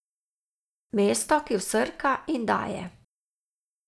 Mesto, ki vsrka in daje.